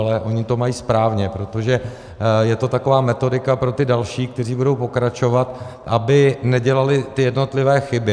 Ale oni to mají správně, protože je to taková metodika pro ty další, kteří budou pokračovat, aby nedělali ty jednotlivé chyby.